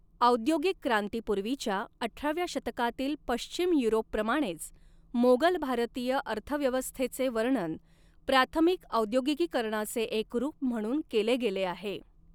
औद्योगिक क्रांतीपूर्वीच्या अठराव्या शतकातील पश्चिम युरोपप्रमाणेच, मोगल भारतीय अर्थव्यवस्थेचे वर्णन प्राथमिक औद्योगिकीकरणाचे एक रूप म्हणून केले गेले आहे.